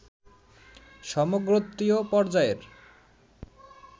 সমগোত্রীয় পর্যায়ের